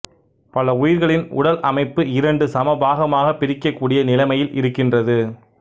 பல உயிர்களின் உடல் அமைப்பு இரண்டு சமபாகமாகப் பிரிக்கக்கூடிய நிலைமையில் இருக்கின்றது